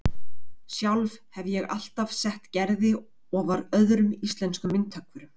Sjálf hefi ég alltaf sett Gerði ofar öðrum íslenskum myndhöggvurum